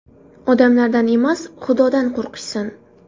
Odamlardan emas, Xudodan qo‘rqishsin!